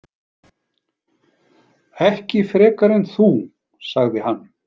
Ekki frekar en þú, sagði hann.